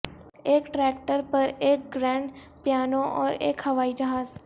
ایک ٹریکٹر پر ایک گرینڈ پیانو اور ایک ہوائی جہاز